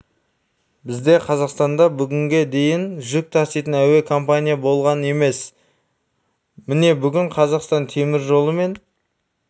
бізде қазақстанда бүгінге дейін жүк таситын әуе компания болған емес міне бүгін қазақстан темір жолы пен